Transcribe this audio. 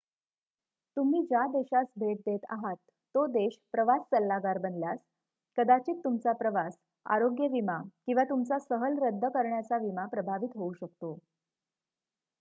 तुम्ही ज्या देशास भेट देत आहात तो देश प्रवास सल्लागार बनल्यास कदाचित तुमचा प्रवास आरोग्य विमा किंवा तुमचा सहल रद्द करण्याचा विमा प्रभावित होऊ शकतो